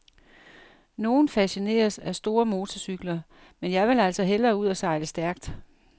Nogen fascineres af store motorcykler, men jeg vil altså hellere ud og sejle stærkt.